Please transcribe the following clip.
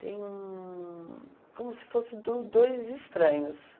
Tem um... como se fossem do dois estranhos.